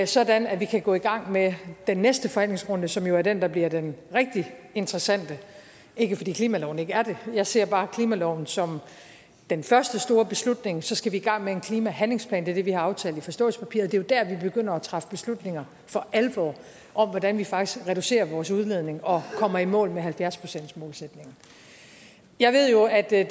sådan at vi kan gå i gang med den næste forhandlingsrunde som jo er den der bliver den rigtig interessante det er ikke fordi klimaloven ikke er det jeg ser bare klimaloven som den første store beslutning og så skal vi i gang med en klimahandlingsplan det er det vi har aftalt i forståelsespapiret jo der vi begynder at træffe beslutninger for alvor om hvordan vi faktisk reducerer vores udledning og kommer i mål med halvfjerds procentsmålsætningen jeg ved jo at det